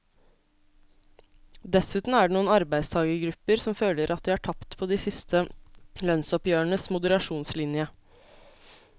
Dessuten er det noen arbeidstagergrupper som føler at de har tapt på de siste lønnsoppgjørenes moderasjonslinje.